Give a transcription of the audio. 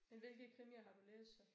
Men hvilke krimier har du læst så?